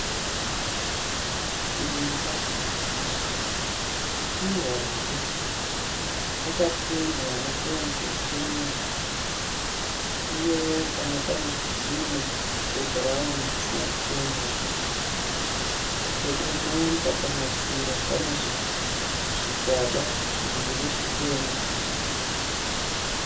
Imba ihombe yakapendwa nependi yekirimu uye pamwe panezvitinha zveBurauni zvisina kupenda. Pedo nemba pamadziro pane zvigaba zviviri zvitema.